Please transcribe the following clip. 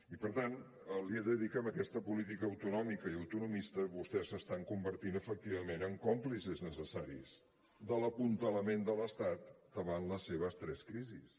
i per tant li he de dir que amb aquesta política autonòmica i autonomista vostès s’estan convertint efectivament en còmplices necessaris de l’apuntalament de l’estat davant les seves tres crisis